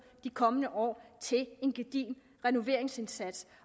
i de kommende år til en gedigen renoveringsindsats